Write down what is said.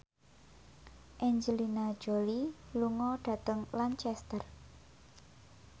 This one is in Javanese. Angelina Jolie lunga dhateng Lancaster